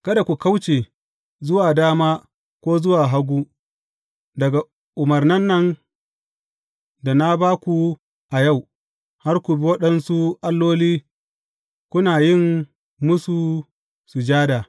Kada ku kauce zuwa dama ko zuwa hagu daga umarnan da na ba ku a yau, har ku bi waɗansu alloli kuna yin musu sujada.